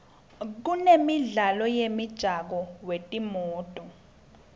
kunemidlalo wemjako wetimoto